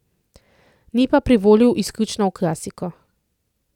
Ni pa privolil izključno v klasiko.